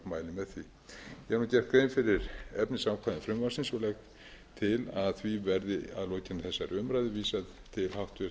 ég hef gert grein fyrir efnisákvæðum frumvarpsins og legg til að því verði að lokinni